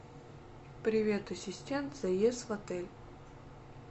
привет ассистент заезд в отель